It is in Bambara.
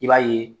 I b'a ye